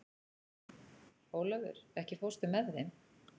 Olavur, ekki fórstu með þeim?